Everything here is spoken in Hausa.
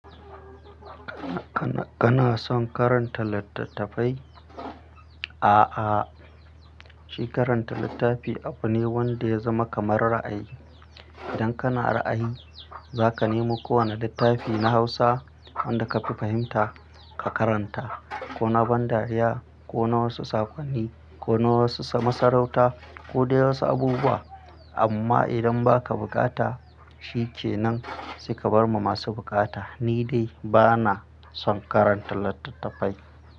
Kana son karanta littattafai? A'a, shi karanta littafi abu ne wanda ya zama kamar ra'ayi. Idan kana ra'ayi, za ka nemo kowane littafi na Hausa wanda ka fi fahimta ka karanta, ko na ban dariya ko na wasu saƙonni ko na wasu masarauta ko dai wasu abubuwa. Amma idan ba ka buƙata, shi ke nan saika bar ma masu buƙata. Ni dai bana son karanta littattafai.